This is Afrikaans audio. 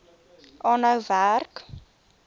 aanhou werk